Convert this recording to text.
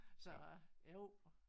Så jo